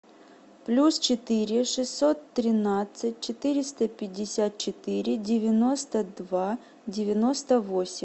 плюс четыре шестьсот тринадцать четыреста пятьдесят четыре девяносто два девяносто восемь